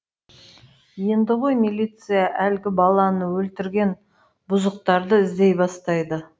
енді ғой милиция әлгі баланы өлтірген бұзықтарды іздей бастайды